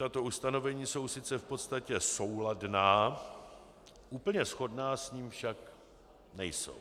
Tato ustanovení jsou sice v podstatě souladná, úplně shodná s ním však nejsou.